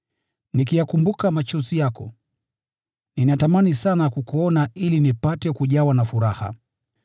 Nikiyakumbuka machozi yako, ninatamani sana kukuona ili nipate kujawa na furaha.